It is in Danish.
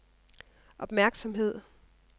opmærksomhed